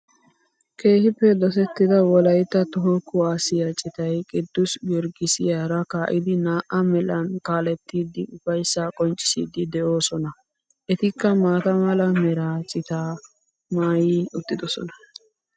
Keehiippe dosettida wolaitta toho kuwaassiya cittay kidussi giorgissiyaara ka'idi naa'a melan kaalettidi ufayssaa qonccissidi de'oosona. Ettikka maata mala meraa cittaa mayi uttidosona.